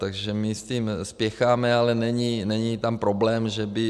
Takže my s tím spěcháme, ale není tam problém, že by...